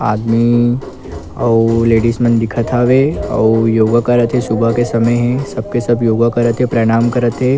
आदमी अउ लेडीज मन दिखत हवे अउ योगा करा थे सुबह के समय हे सब के सब योगा करा थे प्रणाम करा थे।